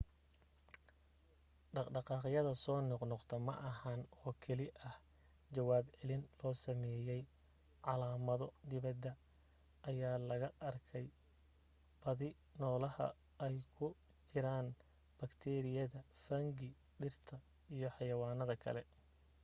dhaqdhaqaaqyada soo noqnoqdo ma ahan oo keli ah jawaab celin loo samaynaayo calaamado dibadda ayaa laga arkay badi nolaha ay ku jiraan baktiiriyada fungi dhirta iyo xayawaanka kale